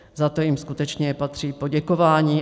Za to jim skutečně patří poděkování.